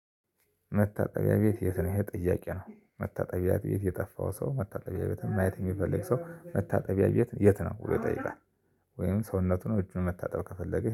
መታጠቢያ ቤት የት ነው? ይሄ ጥያቄ ነው። መታጠቢያ ቤት የጠፋው ሰው መታጠቢያ ቤት ማየት የሚፈልግ ሰው መታጠቢያ የት የት ነው ብሎ ይጠይቃል። ወይም ሰውነቱን እጁን መታጠብ ከፈለገ